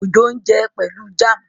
Ojo n jé Pẹlú jam.